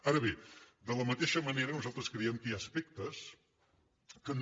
ara bé de la mateixa manera nosaltres creiem que hi ha aspectes que no